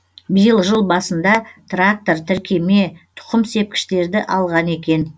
биыл жыл басында трактор тіркеме тұқым сепкіштерді алған екен